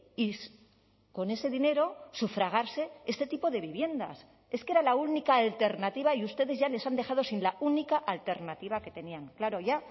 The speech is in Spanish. y con ese dinero sufragarse este tipo de viviendas es que era la única alternativa y ustedes ya les han dejado sin la única alternativa que tenían claro ya